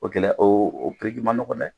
O gɛlɛya o ni ma nɔgɔn dɛ!